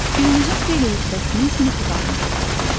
Günümüzün xeyli hissəsini sinif otağımızda keçiririk.